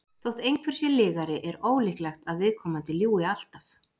þótt einhver sé lygari er ólíklegt að viðkomandi ljúgi alltaf